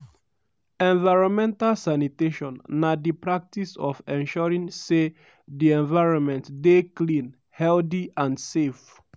environmental sanitation na di practice of ensuring say di environment dey clean healthy and safe.